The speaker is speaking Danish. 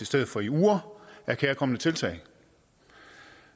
stedet for i uger er kærkomne tiltag